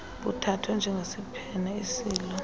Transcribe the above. buthathwe njengesiphene esilolo